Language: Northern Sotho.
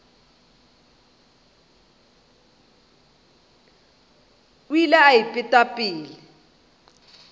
o ile a ipeta pelo